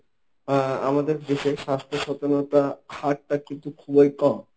আহ আমাদের দেশের স্বাস্থ্য সচেতনতা হারটা কিন্তু খুবই কম।